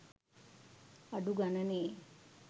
අඩු ගණනේ